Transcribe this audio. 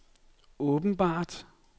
åbenbart